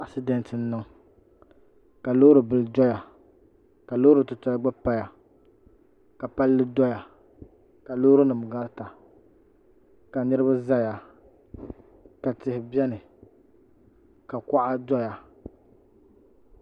Asidɛnt n niŋ ka loori bili doya ka loori titali gba paya ka palli doya ka loori nim garita ka niraba ʒɛya ka tihi biɛni ka kuɣa doya